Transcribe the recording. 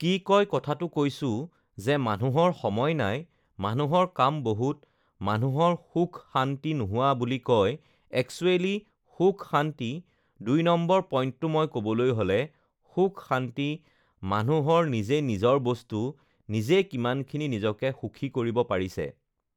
কি কয় কথাটো কৈছোঁ যে মানুহৰ সময় নাই, মানুহৰ কাম বহুত, মানুহৰ সুখ-শান্তি নোহোৱা বুলি কয়, এক্সোৱেলি সুখ-শান্তি, দুই নম্বৰ পইণ্টটো মই ক'বলৈ হ'লে, সুখ-শান্তি মানুহৰ নিজে নিজৰ বস্তু, নিজে কিমানখিনি নিজকে সুখী কৰিব পাৰিছে